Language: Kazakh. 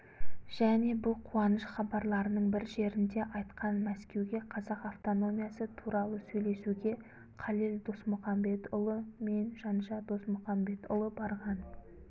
және бұл қуаныш хабарларының бір жерінде айтқан мәскеуге қазақ автономиясы туралы сөйлесуге қалел досмұқамбетұлы мен жанша досмұқамбетұлы барған